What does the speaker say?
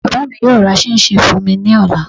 Bàbá mi yóò ra ṣíínṣin fún mi ní ọ̀la